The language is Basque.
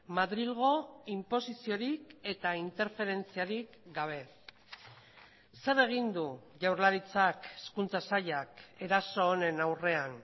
madrilgo inposiziorik eta interferentziarik gabe zer egin du jaurlaritzak hezkuntza sailak eraso honen aurrean